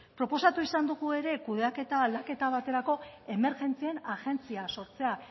proposatu izan dugu ere kudeaketa aldaketa baterako emergentzien agentzia sortzea